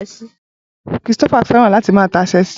Christopher fẹ́ràn láti máa ta Ṣẹ́ẹ̀sì